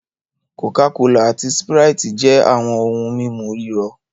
Coca-Cola ati Sprite jẹ awọn ohun mímu rírọ̀